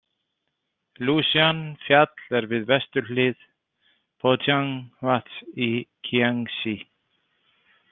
Lúsjan- fjall er við vesturhlið Pójang- vatns i Kíangsí.